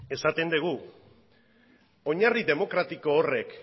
esaten dugu oinarri demokratiko horrek